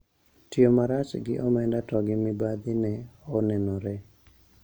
Tiyo marach gi omenda to gi mibadhi ne onenore